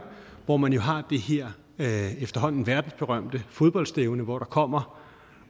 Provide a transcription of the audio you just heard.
hvor man jo har det her efterhånden verdensberømte fodboldstævne hvor der kommer